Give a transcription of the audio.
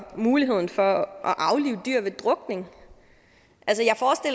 muligheden for at aflive dyr ved drukning